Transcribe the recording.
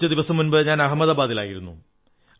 കുറച്ചു ദിവസം മുമ്പ് ഞാൻ അഹമ്മദാബാദിലായിരുന്നു